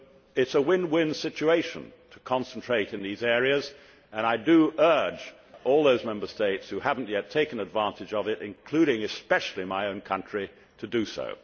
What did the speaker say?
It is a win win situation to concentrate in those areas, and I urge all those Member States which have not yet taken advantage of this, including and especially my own country, to do so.